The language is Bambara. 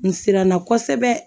N siranna kosɛbɛ